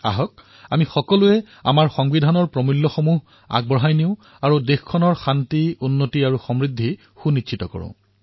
আহক আমি সকলো আমাৰ সংবিধানৰ মূল্যবোধ আগুৱাই লৈ যাও আৰু নিজৰ নিজৰ শান্তি উন্নতি আৰু সমৃদ্ধি সুনিশ্চিত কৰোঁ